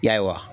Ya